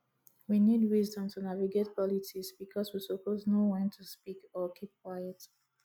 we need wisdom to navigate politics bicos we suppose know wen to speak or keep quiet